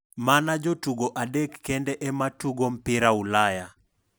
Mana jotugo adek kende ema tugo mpira Ulaya.